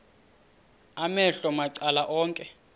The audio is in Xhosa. amehlo macala onke